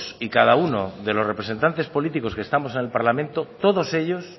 y cada uno de los representantes políticos que estamos en el parlamento todos ellos